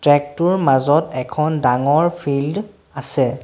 Track টোৰ মাজত এখন ডাঙৰ ফিল্ড আছে।